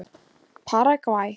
Paragvæ